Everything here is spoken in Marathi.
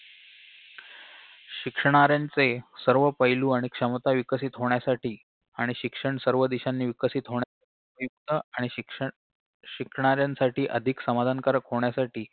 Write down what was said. शिक्षणाऱ्यांचे सर्व पैलू आणि क्षमता विकसित होण्यासाठी आणि शिक्षण सर्व दिशांनी विकसित होण्या अं अह शिक्षण शिकणाऱ्यांसाठी अधिक समाधानकारक होण्यासाठी